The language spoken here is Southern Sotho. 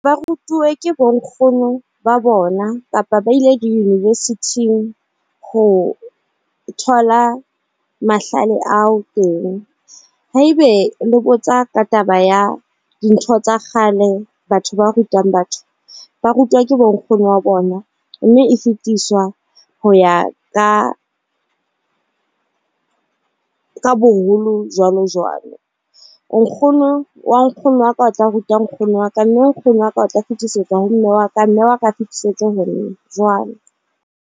Ba rutuwe ke bo nkgono ba bona kapa ba ile di university-ing ho thola mahlale ao teng. Haebe le botsa ka taba ya dintho tsa kgale, batho ba rutang batho ba rutwa ke bo nkgono wa bona mme e fetiswa ho ya ka ka boholo jwalo jwalo. Nkgono wa nkgono wa ka, o tla ruta nkgono wa ka mme nkgono wa ka o tla fetisetsa ho mme wa ka mme wa ka fetisetswe ho nna jwalo.